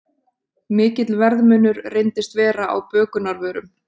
Mikill verðmunur reyndist vera á bökunarvörum